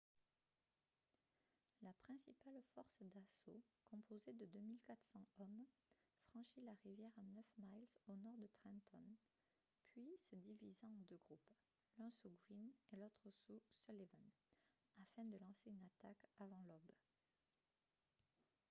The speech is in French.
la principale force d'assaut composée de 2 400 hommes franchit la rivière à neuf miles au nord de trenton puis se divisa en deux groupes l'un sous greene et l'autre sous sullivan afin de lancer une attaque avant l'aube